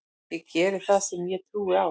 Ég geri það sem ég trúi á.